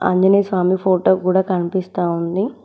Anjaneya Swamy photo కూడా కనిపిస్తా ఉంది.